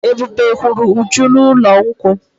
Ebube huru Uju n'ụlọ nkwu.